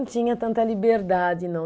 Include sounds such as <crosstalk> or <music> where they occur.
<unintelligible> tinha tanta liberdade, não.